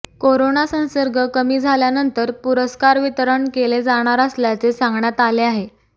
corona संसर्ग कमी झाल्यानंतर पुरस्कार वितरण केले जाणार असल्याचे सांगण्यात आले आहे